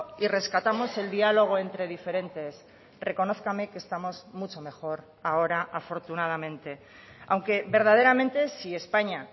y rescatamos el diálogo entre diferentes reconózcame que estamos mucho mejor ahora afortunadamente aunque verdaderamente si españa